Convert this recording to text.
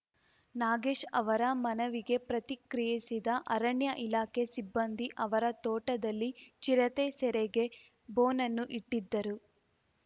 ನಾಗೇಶ್ ಅವರ ಮನವಿಗೆ ಪ್ರತಿಕ್ರಿಯಿಸಿದ ಅರಣ್ಯ ಇಲಾಖೆ ಸಿಬ್ಬಂದಿ ಅವರ ತೋಟದಲ್ಲಿ ಚಿರತೆ ಸೆರೆಗೆ ಬೋನನ್ನು ಇಟ್ಟಿದ್ದರು